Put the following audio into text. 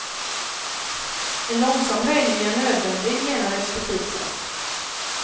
En långsam höjning är nödvändig, menar expertisen.